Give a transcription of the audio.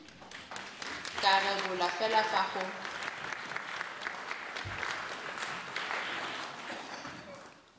ka rebolwa fela fa go